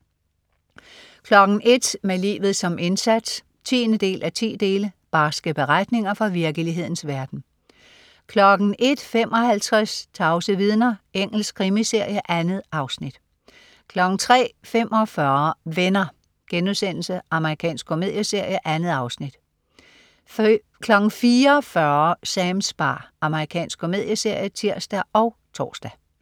01.00 Med livet som indsats 10:10. Barske beretninger fra virkelighedens verden 01.55 Tavse vidner. Engelsk krimiserie. 2 afsnit 03.45 Venner.* Amerikansk komedieserie. 2 afsnit 04.40 Sams bar. Amerikansk komedieserie (tirs og tors)